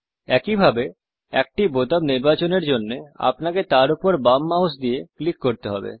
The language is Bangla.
একইভাবে একটি বোতাম নির্বাচন এর জন্যে আপনাকে তার ওপর বাম মাউস দিয়ে ক্লিক করতে হবে